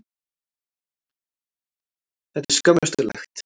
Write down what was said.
Þetta er skömmustulegt.